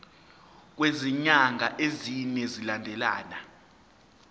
kwezinyanga ezine zilandelana